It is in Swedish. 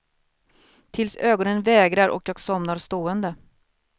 Tills ögonen vägrar och jag somnar stående.